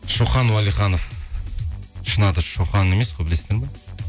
шоқан уәлиханов шын аты шоқан емес қой білесіздер ме